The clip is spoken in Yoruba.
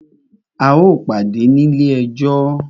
A o pàdé ní ilé ẹjọ́!